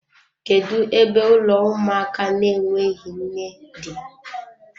Kedu ebe ụlọ ụmụaka na-enweghị nne dị?